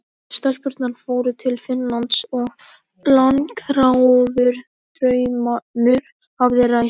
Stelpurnar fóru til Finnlands og langþráður draumur hafði ræst.